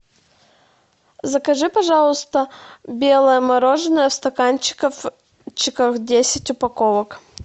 закажи пожалуйста белое мороженое в стаканчиках десять упаковок